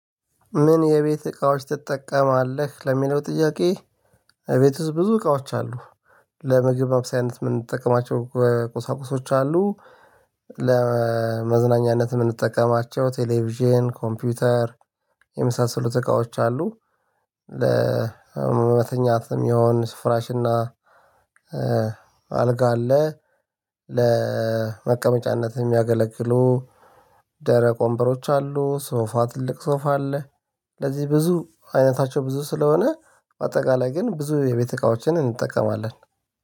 ምን የቤት እቃዎች ትጠቀማለህ ለሚለው ጥያቄ? እቤት ውስጥ ብዙ እቃዎች አሉ። ለምግብ ማብሳይነት የምንጠቀማቸው ቁሳቁሶች አሉ። ለመዝናኛነት የምንጠቀማቸው ቴሌቪዥን ኮምፒውተር የምሳሰሉት እቃዎች አሉ። ለመተኛትም የሆነ ስፍራሽና አልጋ አለ። ለመቀመጫነት የሚያገለግሉ ደረቅ ወንበሮች አሉ ሶፋ ትልቅ ሶፋ አለ። ለዚህ ብዙ አይነታቸው ብዙ ስለሆነ አጠቃላይ ግን ብዙ የቤት እቃዎችን እንጠቀማለን